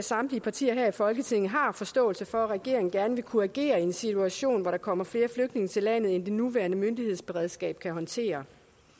samtlige partier her i folketinget har forståelse for at regeringen gerne vil kunne regere i en situation hvor der kommer flere flygtninge til landet end det nuværende myndighedsberedskab kan håndtere